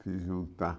Se juntar.